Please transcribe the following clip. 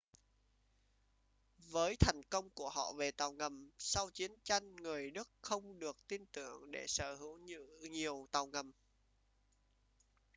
với thành công của họ về tàu ngầm sau chiến tranh người đức không được tin tưởng để sở hữu nhiều tàu ngầm